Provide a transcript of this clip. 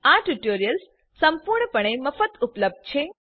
આ ટ્યુટોરિયલ્સ સંપૂર્ણપણે મફત ઉપલબ્ધ છે